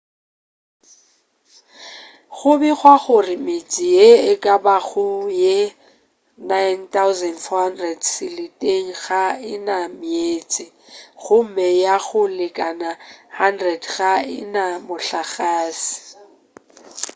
go begwa gore metse ye e ka bago ye 9400 seleteng ga e na meetse gomme ya go lekana 100 ga e na mohlagase